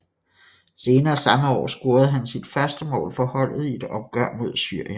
Senere samme år scorede han sit første mål for holdet i et opgør mod Syrien